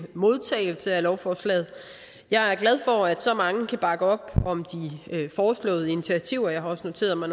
modtagelse af lovforslaget jeg er glad for at så mange kan bakke op om de foreslåede initiativer jeg har også noteret mig